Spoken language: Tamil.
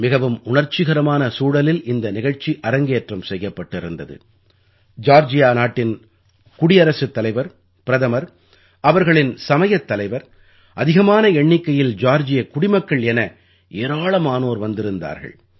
மிகவும் உணர்ச்சிகரமான சூழலில் இந்த நிகழ்ச்சி அரங்கேற்றம் செய்யப்பட்டிருந்தது ஜார்ஜியா நாட்டின் குடியரசுத் தலைவர் பிரதமர் அவர்களின் சமயத் தலைவர் அதிகமான எண்ணிக்கையில் ஜார்ஜியக் குடிமக்கள் என ஏராளமானோர் வந்திருந்தார்கள்